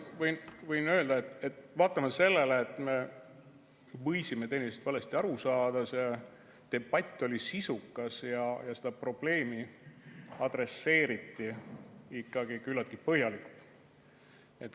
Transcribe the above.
Ma võin öelda, et vaatamata sellele, et me võisime teineteisest valesti aru saada, see debatt oli sisukas ja seda probleemi adresseeriti ikkagi küllaltki põhjalikult.